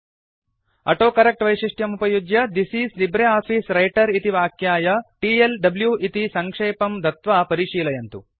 autocorrect वैशिष्ट्यमुपयुज्य this is LibreOffice Writer इति वाक्याय टीएलडब्लू इति सङ्क्षेपं दत्वा परिशीलयन्तु